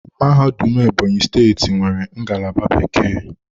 Mahadum Ebonyi steeti nwere ngalaba bekee.